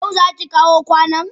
Yau zaki kawo kwanon?